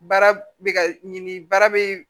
Baara bɛ ka ɲini baara bɛ